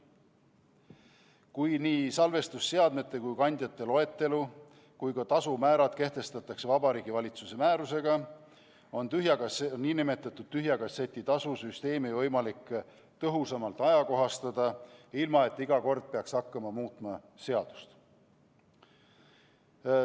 Kui nii salvestusseadmete ja ‑kandjate loetelu kui ka tasumäärad kehtestatakse Vabariigi Valitsuse määrusega, on nn tühja kasseti tasu süsteemi võimalik tõhusamalt ajakohastada, ilma et iga kord peaks hakkama muutma seadust.